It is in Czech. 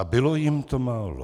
A bylo jim to málo.